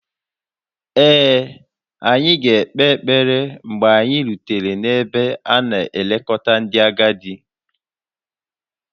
Ee, anyị ga-ekpe ekpere mgbe anyị rutere n'ebe a na-elekọta ndị agadi